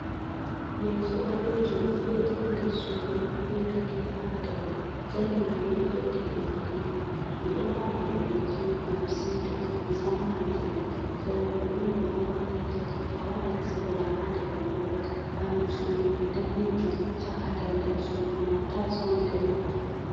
Leso balejum do ve'iti ha nder sudu be katifa ha daw mai zanin gado do ve'iti dow katifa mai ɓe ɗo wala do leso ngam siuta musamman jemma sera mai don durowa petel a wadan sigama ha nder durowa bandu sudu mai danejum shaka daldal sudu mai tayis on danejum.